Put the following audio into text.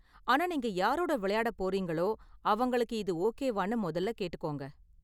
ஆனா நீங்க யாரோட விளையாட போறீங்களோ அவங்களுக்கு இது ஓகேவானு முதல்ல கேட்டுக்கோங்க.